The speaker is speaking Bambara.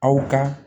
Aw ka